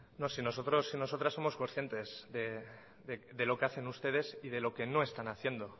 no si nosotros y nosotras somos concientes de lo hacen ustedes y de lo que no están haciendo